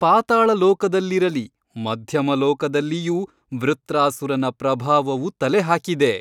ಪಾತಾಳಲೋಕದಲ್ಲಿರಲಿ ಮಧ್ಯಮಲೋಕದಲ್ಲಿಯೂ ವೃತ್ರಾಸುರನ ಪ್ರಭಾವವು ತಲೆಹಾಕಿದೆ.